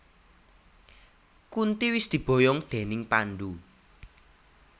Kunti wis diboyong déning Pandhu